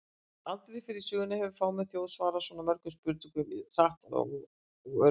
Aldrei fyrr í sögunni hefur fámenn þjóð svarað svo mörgum spurningum jafn hratt og örugglega!